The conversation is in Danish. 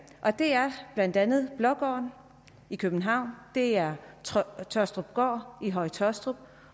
det er blandt andet blågården i københavn det er tåstrupgård i høje taastrup